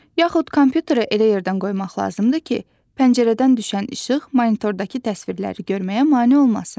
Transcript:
Yaxud kompüteri elə yerdən qoymaq lazımdır ki, pəncərədən düşən işıq monitordakı təsvirləri görməyə mane olmasın.